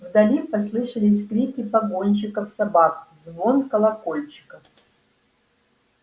вдали послышались крики погонщиков собак звон колокольчиков